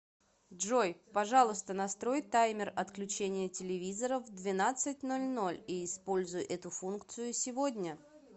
джой пожалуйста настрой таймер отключения телевизора в двенадцать ноль ноль и используй эту функцию сегодня